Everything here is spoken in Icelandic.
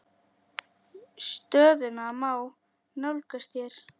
Stöðuna má nálgast hér.